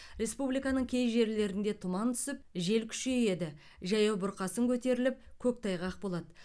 республиканың кей жерлерінде тұман түсіп жел күшейеді жаяу бұрқасын көтеріліп көктайғақ болады